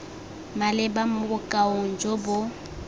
maleba mo bokaong jo bo